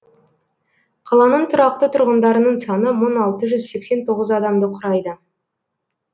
қаланың тұрақты тұрғындарының саны мың алты жүз сексен тоғыз адамды құрайды